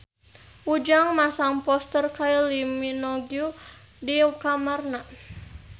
Ujang masang poster Kylie Minogue di kamarna